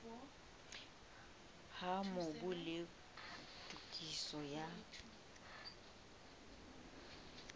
ha mobu le tokiso ya